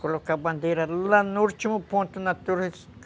Colocar a bandeira lá no último ponto da torre.